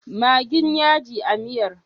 Maggin yaji a miyar?